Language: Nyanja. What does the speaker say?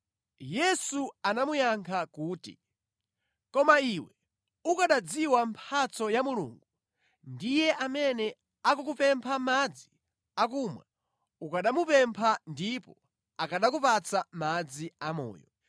Yesu anamuyankha kuti, “Koma iwe ukanadziwa mphatso ya Mulungu ndi Iye amene akukupempha madzi akumwa, ukanamupempha ndipo akanakupatsa madzi amoyo.”